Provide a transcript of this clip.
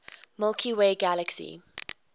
milky way galaxy